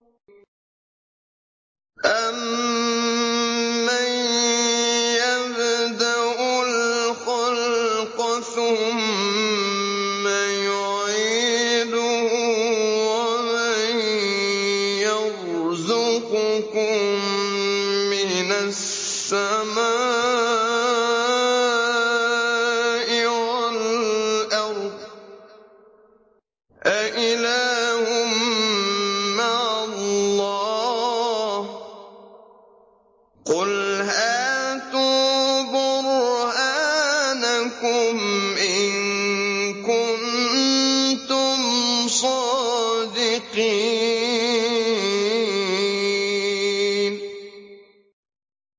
أَمَّن يَبْدَأُ الْخَلْقَ ثُمَّ يُعِيدُهُ وَمَن يَرْزُقُكُم مِّنَ السَّمَاءِ وَالْأَرْضِ ۗ أَإِلَٰهٌ مَّعَ اللَّهِ ۚ قُلْ هَاتُوا بُرْهَانَكُمْ إِن كُنتُمْ صَادِقِينَ